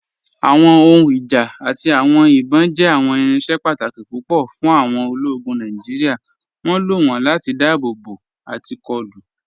Awọn ohùn ìjá àti awọn ìbọn jẹ́ awọn irinṣẹ̀ pàtàkì pupọ̀ fún awọn òlógún Nàìjíríà. Wọn ló wọn láti dáàbòbò àti kọ̀lù.